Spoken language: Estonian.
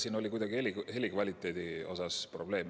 Siin oli kuidagi heli kvaliteediga probleeme.